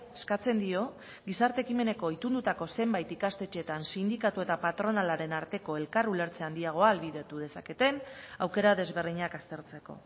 eskatzen dio gizarte ekimeneko itundutako zenbait ikastetxeetan sindikatu eta patronalaren arteko elkar ulertze handiagoa ahalbidetu dezaketen aukera desberdinak aztertzeko